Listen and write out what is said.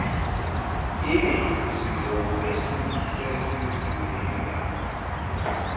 inini sizokube sesizinika